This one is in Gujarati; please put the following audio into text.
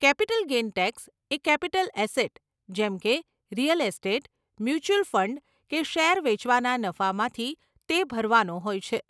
કેપિટલ ગેઇન ટેક્સ એ કેપિટલ એસેટ જેમકે રીયલ એસ્ટેટ, મ્યુંચ્યુઅલ ફંડ કે શેર વેચવાના નફામાંથી તે ભરવાનો હોય છે.